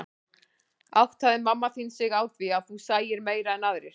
Áttaði mamma þín sig á því að þú sæir meira en aðrir?